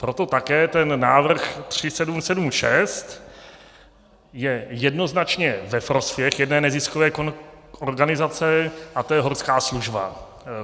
Proto také ten návrh 3776 je jednoznačně ve prospěch jedné neziskové organizace, a to je Horská služba.